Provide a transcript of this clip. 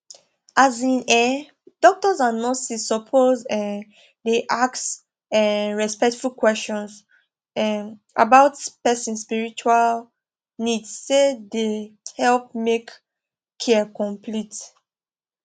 as in[um]doctors and nurses suppose um dey ask um respectful questions um about person spiritual needse dey help make care complete